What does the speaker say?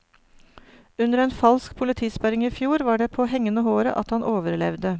Under en falsk politisperring i fjor var det på hengende håret at han overlevde.